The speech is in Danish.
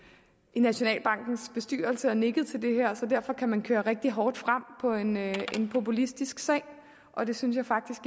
i nationalbankens bestyrelse og nikket til det her så derfor kan man køre rigtig hårdt frem på en populistisk sag og det synes jeg faktisk